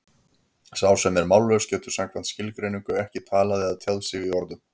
Sá sem er mállaus getur samkvæmt skilgreiningu ekki talað eða tjáð sig í orðum.